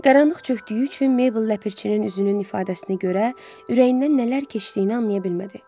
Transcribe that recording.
Qaranlıq çökdüyü üçün Meybl Ləpirçinin üzünün ifadəsinə görə ürəyindən nələr keçdiyini anlaya bilmədi.